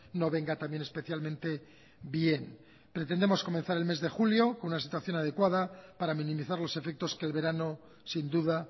no venga también especialmente bien pretendemos comenzar el mes de julio con una situación adecuada para minimizar los efectos que el verano sin duda